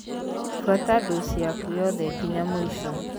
Buata ndoci yaku yothe nginya mūico.